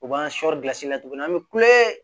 U b'an sɔɔri gilansi la tuguni an bɛ kulonkɛ